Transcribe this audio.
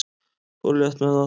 Fór létt með það.